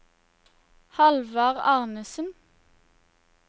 Hallvard Arnesen